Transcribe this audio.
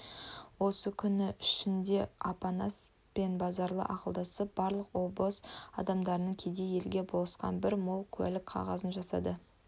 осы күн ішінде апанас пен базаралы ақылдасып барлық обоз адамдарының кедей елге болысқан бір мол куәлік қағазын жасады